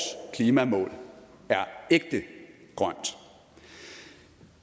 klimamål er ægte grønt